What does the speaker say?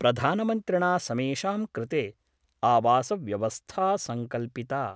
प्रधानमन्त्रिणा समेषां कृते आवासव्यवस्था संकल्पिता।